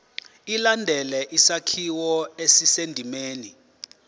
ilandele isakhiwo esisendimeni